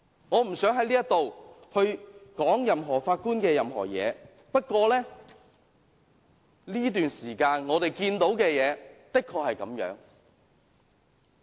我不想在此說有關任何法官的任何事情，不過，我們在這段時間看到的事情的確如此。